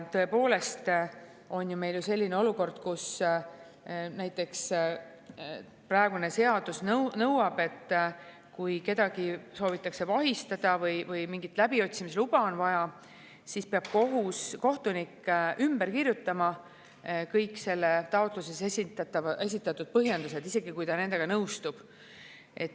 Tõepoolest, meil on ju selline olukord, kus praegune seadus nõuab, et kui kedagi soovitakse vahistada või mingit läbiotsimisluba on vaja, siis peab kohtunik ümber kirjutama kõik selles taotluses esitatud põhjendused, isegi kui ta nendega nõustub.